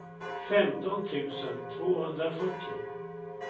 femton tusen tvåhundrasjuttio